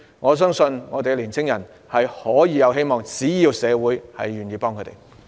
我相信青年人是有希望的，只要社會願意幫助他們。